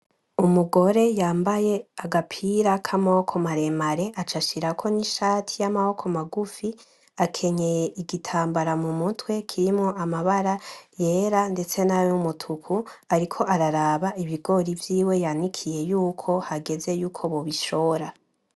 Umugore yambaye agapira k'amaboko maremare aca ashirako n,ishati y'amaboko magufi, akenyeye igitambara mumutwe kirimwo amabara yera ndetse nay'umutuku ariko araraba ibigori vyiwe yanikiye yuko hageze yuko bobishora.